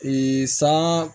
san